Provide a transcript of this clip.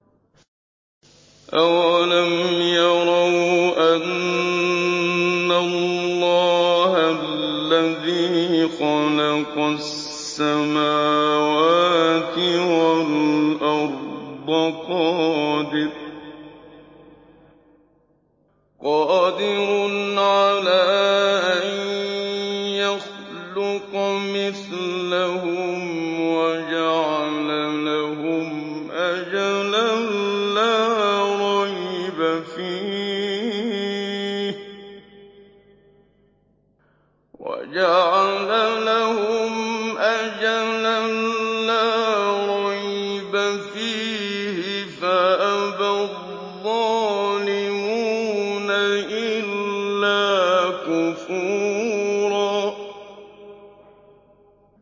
۞ أَوَلَمْ يَرَوْا أَنَّ اللَّهَ الَّذِي خَلَقَ السَّمَاوَاتِ وَالْأَرْضَ قَادِرٌ عَلَىٰ أَن يَخْلُقَ مِثْلَهُمْ وَجَعَلَ لَهُمْ أَجَلًا لَّا رَيْبَ فِيهِ فَأَبَى الظَّالِمُونَ إِلَّا كُفُورًا